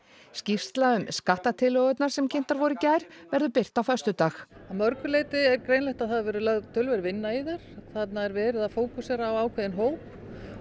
skýrsla um skattatillögurnar sem kynntar voru í gær verður birt á föstudag að mörgu leyti er greinilegt að það hefur verið lögð töluverð vinna í þær þarna er verið að fókusera á ákveðinn hóp